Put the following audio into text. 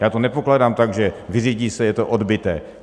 Já to nepokládám tak, že vyřídí se, je to odbyté.